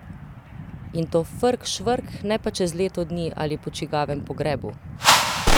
In to frk švrk, ne pa čez leto dni ali po čigavem pogrebu!